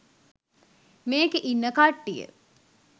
මේකේ ඉන්න කට්ටිය